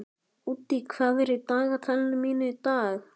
Úddi, hvað er í dagatalinu mínu í dag?